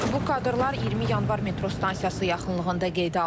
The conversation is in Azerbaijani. Bu kadrlar 20 Yanvar metro stansiyası yaxınlığında qeydə alınıb.